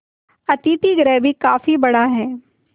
अतिथिगृह भी काफी बड़ा